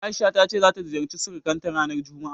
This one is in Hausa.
A'isha ta ce ta ziyarci surukanta ranar juma'a.